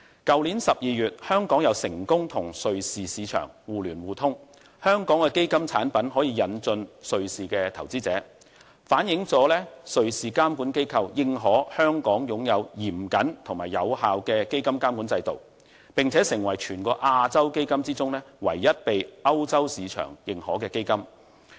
去年12月香港再成功與瑞士市場互聯互通，香港的基金產品可以引進瑞士的投資者，反映了瑞士監管機構認可香港擁有嚴謹及有效的基金監管制度，並且成為全亞洲基金中，唯一被歐洲市場認可的基金。